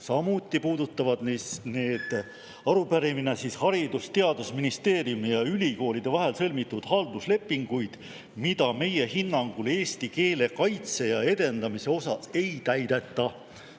Samuti puudutab arupärimine Haridus- ja Teadusministeeriumi ja ülikoolide vahel sõlmitud halduslepinguid, mida meie hinnangul eesti keele kaitse ja edendamise osas ei täideta.